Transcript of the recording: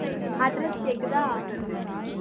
address கேக்குதா